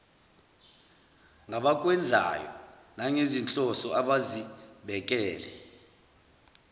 ngabakwenzayo nangezinhloso abazibekele